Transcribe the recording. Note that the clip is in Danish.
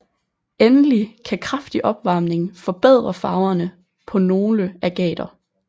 Endelig kan kraftig opvarmning forbedre farverne på nogle agater